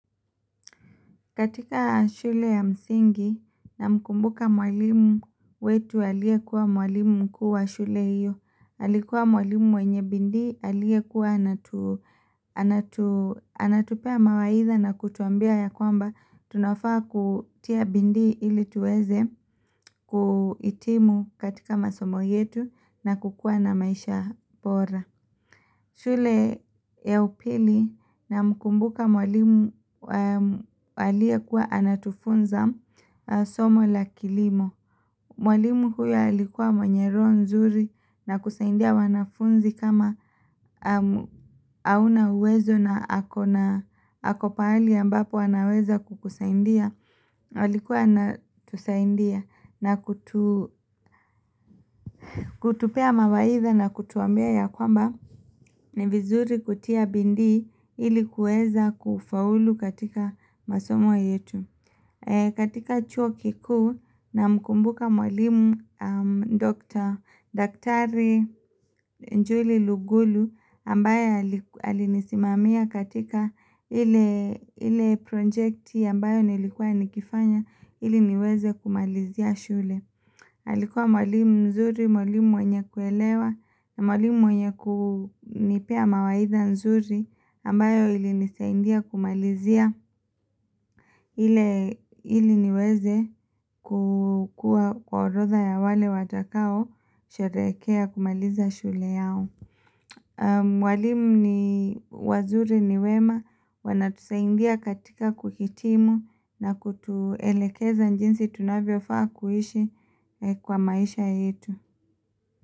Katika shule ya msingi namkumbuka mwalimu wetu aliyekuwa mwalimu mkuu wa shule hiyo. Alikuwa mwalimu mwenye bidii aliekuwa anatupea mawaidha na kutuambia ya kwamba tunafaa kutia bidii ili tuweze kuhitimu katika masomo yetu na kukua na maisha bora. Shule ya upili na mkumbuka mwalimu aliyekuwa anatufunza somo la kilimo Mwalimu huyo alikuwa mwenye roho nzuri na kusaidia wanafunzi kama hauna uwezo na ako pahali ambapo anaweza kukusaidia alikuwa anatusaidia na kutupea mawaidha na kutuambia ya kwamba ni vizuri kutia bidii ilikuweza kufaulu katika masomo yetu katika chuo kikuu namkumbuka mwalimu Doctor Daktari Njuli Lugulu ambaye alinisimamia katika ile projekti ambayo nilikuwa nikifanya ili niweze kumalizia shule alikua mwalimu mzuri, mwalimu mwenye kuelewa na mwalimu mwenye kunipea mawaidha nzuri ambayo ilinisaidia kumalizia ili niweze kukua kwa orotha ya wale watakaosherehekea kumaliza shule yao. Walimu ni wazuri ni wema, wanatusaidia katika kuhitimu na kutuelekeza jinsi tunavyofaa kuishi kwa maisha yetu.